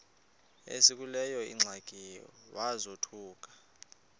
esekuleyo ingxaki wazothuka